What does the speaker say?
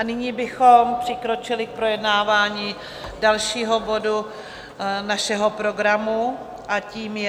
A nyní bychom přikročili k projednávání dalšího bodu našeho programu a tím je